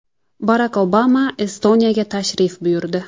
Barak Obama Estoniyaga tashrif buyurdi.